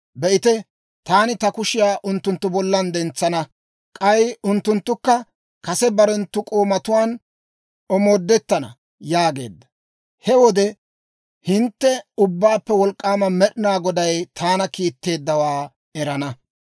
Be'ite, taani ta kushiyaa unttunttu bollan dentsana; k'ay unttunttukka kase barenttu k'oomatuwaan omoodettana» yaageedda. He wode hintte Ubbaappe Wolk'k'aama Med'inaa Goday taana kiitteeddawaa erana.